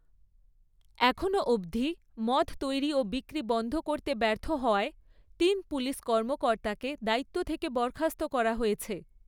এখনও অবধি, মদ তৈরি ও বিক্রি বন্ধ করতে ব্যর্থ হওয়ায় তিন পুলিশ কর্মকর্তাকে দায়িত্ব থেকে বরখাস্ত করা হয়েছে।